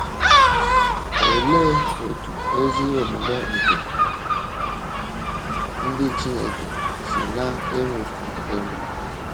Olee otú ezi omume nke ndị Chineke si na - enwupụ enwupụ?